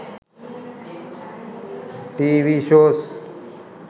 tv shows